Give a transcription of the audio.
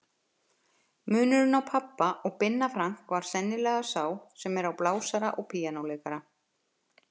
Munurinn á pabba og Binna Frank var sennilega sá sem er á blásara og píanóleikara.